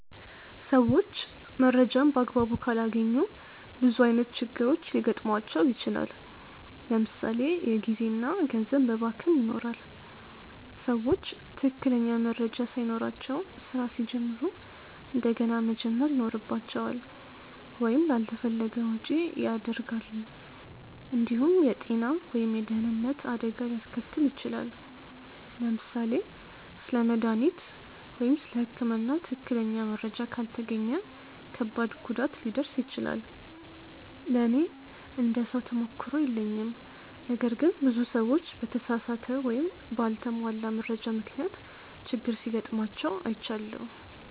ሰዎች መረጃን በአግባቡ ካላገኙ ብዙ ዓይነት ችግሮች ሊገጥሟቸው ይችላል። ለምሳ ሌ የጊዜ እና ገንዘብ መባከን ይኖራል። ሰዎች ትክክለኛ መረጃ ሳይኖራቸው ስራ ሲጀምሩ እንደገና መጀመር ይኖርባቸዋል ወይም ላልተፈለገ ወጪ ያደርጋሉ። እንዲሁም የጤና ወይም የደህንነት አደጋ ሊያስከትል ይችላል። ለምሳሌ ስለ መድሃኒት ወይም ስለ ህክምና ትክክለኛ መረጃ ካልተገኘ ከባድ ጉዳት ሊደርስ ይችላል። ለእኔ እንደ ሰው ተሞክሮ የለኝም ነገር ግን ብዙ ሰዎች በተሳሳተ ወይም በአልተሟላ መረጃ ምክንያት ችግር ሲጋጥማቸው አይቻለሁ።